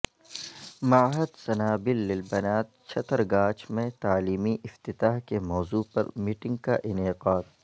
معہد سنابل للبنات چھترگاچھ میں تعلیمی افتتاح کے موضوع پر میٹنگ کا انعقاد